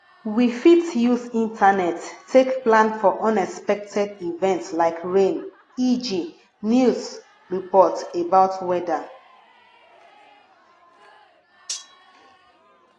we fit use internet take plan for unexpected event like rain eg news report about weather